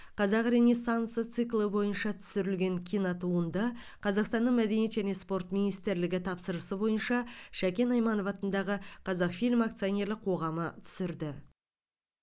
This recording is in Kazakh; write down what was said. қазақ ренессансы циклы бойынша түсірілген кинотуынды қазақстанның мәдениет және спорт министрлігі тапсырысы бойынша шәкен айманов атындағы қазақфильм акционерлік қоғамы түсірді